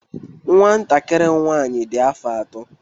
Nwantakịrị m nwaanyị dị afọ atọ.